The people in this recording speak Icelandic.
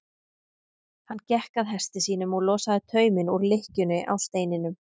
Hann gekk að hesti sínum og losaði tauminn úr lykkjunni á steininum.